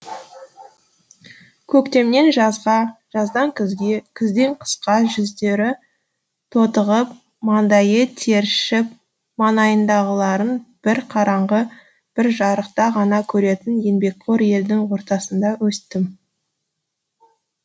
көктемнен жазға жаздан күзге күзден қысқа жүздері тотығып маңдайы тершіп маңайындағыларын бір қараңғы бір жарықта ғана көретін еңбекқор елдің ортасында өстім